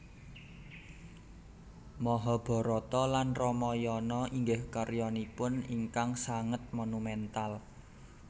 Mahabarata lan Ramayana inggih karyanipun ingkang sanget monumental